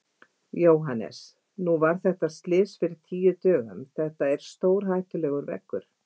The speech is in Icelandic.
Jóhannes: Nú var þetta slys fyrir tíu dögum, þetta er stórhættulegur veggur?